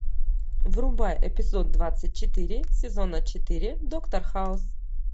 врубай эпизод двадцать четыре сезона четыре доктор хаус